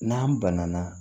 N'an banana